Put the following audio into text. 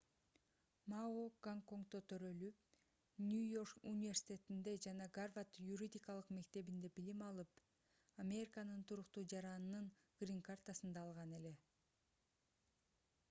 мао гонконгдо төрөлүп нью-йорк университетинде жана гарвард юридикалык мектебинде билим алып американын туруктуу жаранынын грин-картасын да алган эле